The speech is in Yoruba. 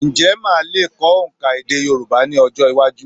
Ǹjẹ́ o lmáa lè kọ́ òǹkà èdè Yorùbá ní ọjọ́-iwájú?